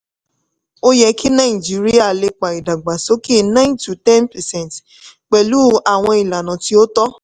ó yẹ kí nàìjíríà lépa ìdàgbàsókè nine o ten percent pẹ̀lú àwọn ìlànà tí ó tọ́.